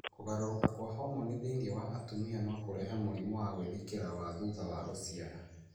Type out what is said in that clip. Kũgarũrũka kwa homoni thĩinĩ wa atumia no kũrehe mũrimũ wa gwĩthikĩra wa thutha wa gũciara.